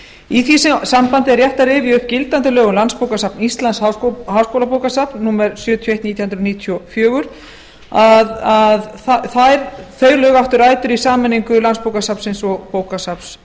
í því sambandi er rétt að rifja upp gildandi lög um landsbókasafn íslands háskólabókasafn númer sjötíu og eitt nítján hundruð níutíu og fjögur áttu rætur í sameiningu landsbókasafnsins og bókasafns